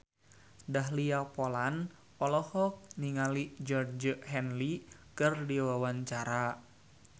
Dahlia Poland olohok ningali Georgie Henley keur diwawancara